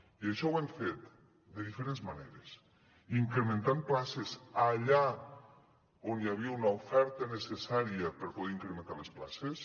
i això ho hem fet de diferents maneres incrementant places allà on hi havia una oferta necessària per poder incrementar les places